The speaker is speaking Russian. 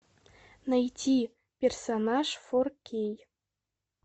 найти персонаж фор кей